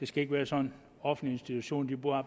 skal være sådan at offentlige institutioner